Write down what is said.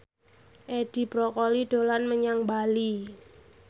Edi Brokoli dolan menyang Bali